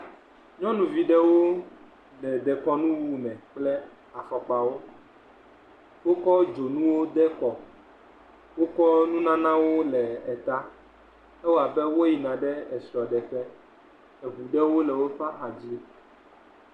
Nyɔnuvi ɖewo le dekɔnuwu me kple afɔkpawo. Wokɔ dzonu de kɔ. Wokɔ nunanawo le eta. Ewɔ abe wo yina ɖe esrɔ̃ɖeƒe. Eŋu ɖe le woƒe hadzi.